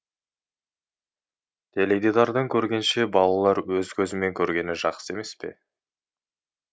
теледидардан көргенше балалар өз көзімен көргені жақсы емес пе